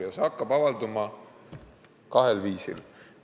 Ja see hakkab avalduma kahel viisil.